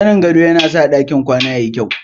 Zanin gado yana sa ɗakin kwana ya yi kyau.